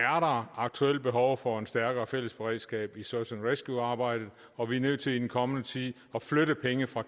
aktuelt behov for et stærkere fælles beredskab i search and rescue arbejdet og vi er nødt til i den kommende tid at flytte penge fra